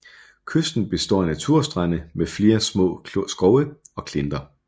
Kysten består af naturstrande med flere små skove og klinter